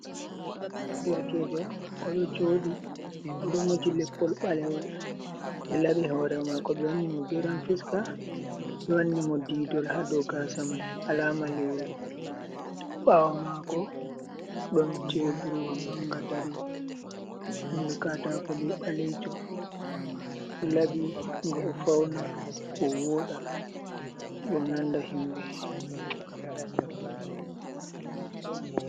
Ɗerkejo oɗo joɗi oɗo moji leppol ɓalewol ɓe laɓi hore mako ɓe wanni mo geran fiska ɓe wanni mo didol ha dou gasa mai alama lewruna, ɓawo mako ɗon teburwa manga dari ɓandu katako be ɓalejum o laɓi nga o fauna o woɗa be o nanda himɓɓe.